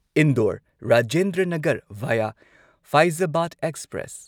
Indore Rajendra Nagar via Faizabad express